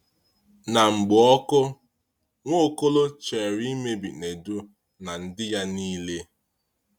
Ná mgbụ ọkụ, Nwaọ́kọ́lọ̀ chere imebi Nèdù na ndị ya niile.